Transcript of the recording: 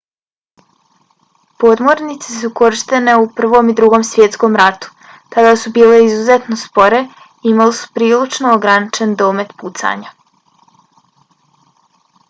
podmornice su korištene u prvom i drugom svjetskom ratu. tada su bile izuzetno spore i imale su prilično ograničen domet pucanja